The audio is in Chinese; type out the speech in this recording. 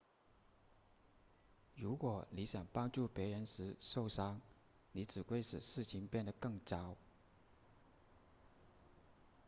如果你想帮助别人时受伤你只会使事情变得更糟